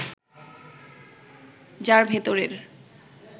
যার ভেতরের